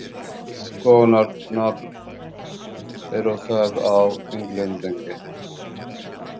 Hvers konar nafn er það á Englendingi?